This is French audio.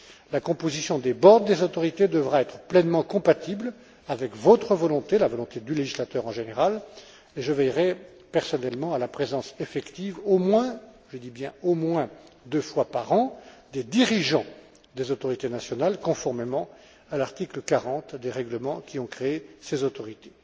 La composition des boards des autorités devra être pleinement compatible avec votre volonté, la volonté du législateur en général, et je veillerai personnellement à la présence effective au moins, je dis bien, au moins deux fois par an, des dirigeants des autorités nationales, conformément à l'article 40 des règlements qui ont créé ces autorités.